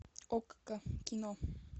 окко кино